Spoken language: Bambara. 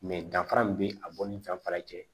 danfara min bɛ a bɔ ni danfara cɛ